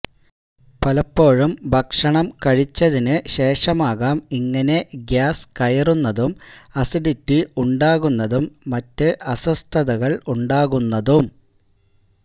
പലപ്പോഴും ഭക്ഷണം കഴിച്ചതിന് ശേഷമാകാം ഇങ്ങനെ ഗ്യാസ് കയറുന്നതും അസിഡിറ്റി ഉണ്ടാകുന്നതും മറ്റ് അസ്വസ്ഥതകളുണ്ടാകുന്നതും